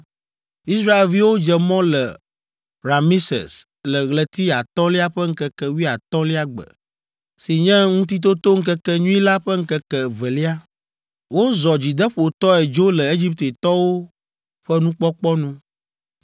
Israelviwo dze mɔ le Rameses le ɣleti atɔ̃lia ƒe ŋkeke wuiatɔ̃lia gbe si nye Ŋutitotoŋkekenyui la ƒe ŋkeke evelia. Wozɔ dzideƒotɔe dzo le Egiptetɔwo ƒe nukpɔkpɔ nu,